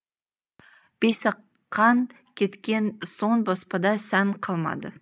бейсақаң кеткен соң баспада сән қалмады